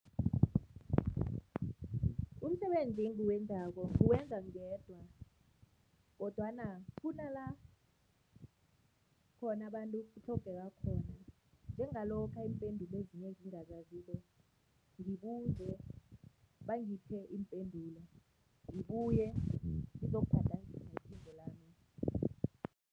Umsebenzi engiwenzako nguwenza ngedwa kodwana kunala khona abantu kutlhogeka khona, njengalokha iimpendulo ezinye engingazaziko, ngibuze, bangiphe iimpendulo, ngibuye ngizokugadangisa iphimbo lami.